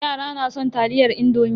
Yara na son taliyar indomi.